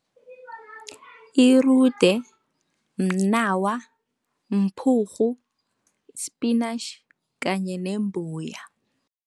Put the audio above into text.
Irude, mnawa, mphurhu, i-spinach kanye nembuya.